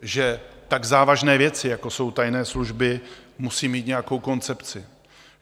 Že tak závažné věci, jako jsou tajné služby, musí mít nějakou koncepci.